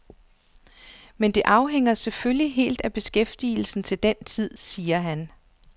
Men det afhænger selvfølgelig helt af beskæftigelsen til den tid, siger han.